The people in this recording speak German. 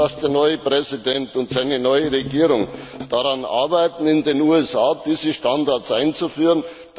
Ich hoffe, dass der neue Präsident und seine neue Regierung daran arbeiten, in den USA diese Standards einzuführen.